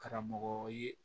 Karamɔgɔ ye